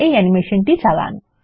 এই অ্যানিমেশনটি চালান